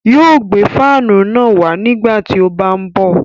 Yóò gbé fáànù náà wá nígbà tí ó bá ń bọ̀